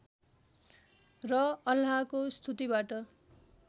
र अल्लाहको स्तुतिबाट